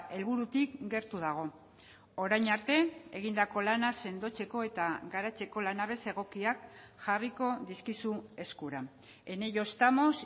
helburutik gertu dago orain arte egindako lana sendotzeko eta garatzeko lanabez egokiak jarriko dizkizu eskura en ello estamos